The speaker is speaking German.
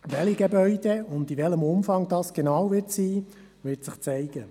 Welche Gebäude benötigt werden und in welchem Umfang, wird sich zeigen.